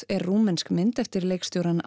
er rúmensk myndin eftir leikstjórann